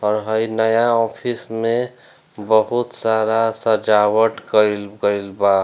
और हेय नया ऑफिस में बहुत सारा सजावट केएल गइल बा।